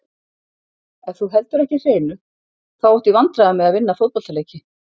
Ef þú heldur ekki hreinu, þá áttu í vandræðum með að vinna fótboltaleiki.